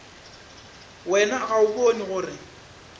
wena ga o bone gore